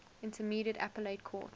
intermediate appellate court